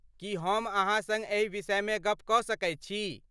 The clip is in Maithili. की हम अहाँ सङ्ग एहि विषयमे गप कऽ सकैत छी?